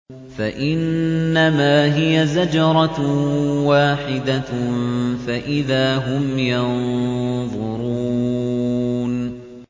فَإِنَّمَا هِيَ زَجْرَةٌ وَاحِدَةٌ فَإِذَا هُمْ يَنظُرُونَ